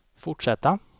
fortsätta